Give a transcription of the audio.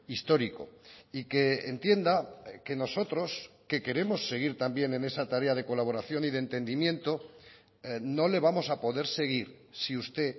histórico y que entienda que nosotros que queremos seguir también en esa tarea de colaboración y de entendimiento no le vamos a poder seguir si usted